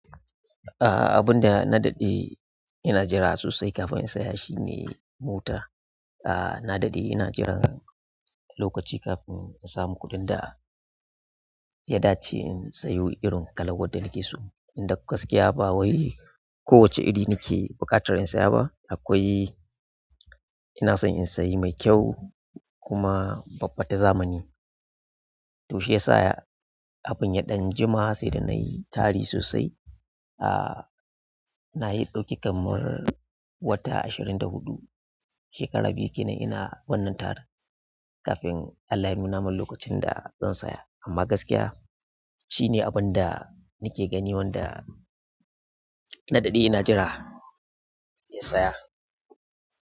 Ah abunda na daɗe ina jira sosai kafin na siya shine mota aaa na daɗe ina jiran lokaci kafin in samu kuɗin da ya dace in sayo irin kalan wadda nake so. Inda gaskiya ba wai ko wacce iri nake buƙatar in saya ba akwai. Ina son in sayi mai kyau kuma babba ta zamani. Toh shiyasa abun ya dan jima sai da nayi tari sosai ah nayi ɗauki kamar wata ashirin da huɗu, shekara biyu kenan ina wannan tari kafin Allah ya nunamin lokacin da zan saya. Amma gaskiya shine abun da nake gani wanda na daɗe ina jira in saya.